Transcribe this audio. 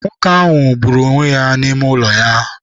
Nwoke ahụ gbụrụ onwe ya n'ime ụlọ ya.